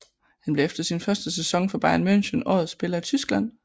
Han blev efter sin første sæson for Bayern München årets spiller i Tyskland